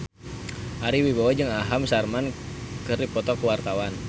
Ari Wibowo jeung Aham Sharma keur dipoto ku wartawan